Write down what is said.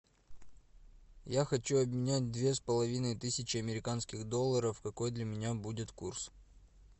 я хочу обменять две с половиной тысячи американских долларов какой для меня будет курс